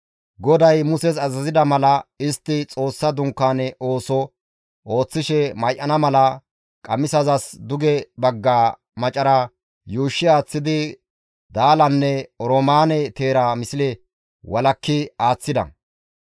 GODAY Muses azazida mala istti Xoossa Dunkaane ooso ooththishe may7ana mala qamisazas duge bagga maccara yuushshi aaththidi daalanne oroomaane teera misle walakki aaththida.